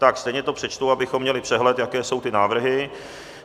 Tak stejně to přečtu, abychom měli přehled, jaké jsou ty návrhy.